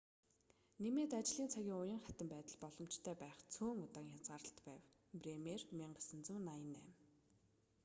нэмээд ажлын цагийн уян хатан байдал боломжтой байх цөөн удаагийн хязгаарлалт байв. бремер 1998